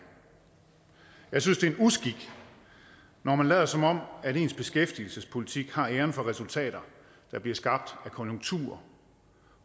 jeg synes det er en uskik når man lader som om ens beskæftigelsespolitik har æren for resultater der bliver skabt af konjunkturer